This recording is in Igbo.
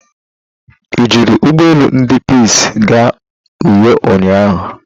I jiri Ugbo elu ndi Peace gaa Uyo ụnyahụ?